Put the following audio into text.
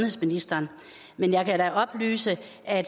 ministeren ikke selv